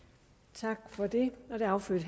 tak for det det